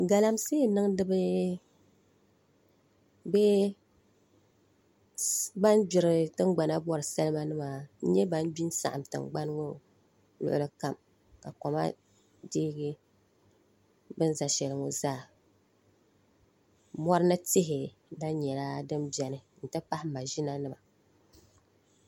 Galamsee niŋdibi bee ban gbiri tingbana bori salima nima n nyɛ ban gbi n saɣam tingbani ŋo luɣuli kam koma deegi bin ʒɛ shɛli ŋo zaa mori ni tihi gba nyɛla din biɛni n ti pahi maʒina zuɣu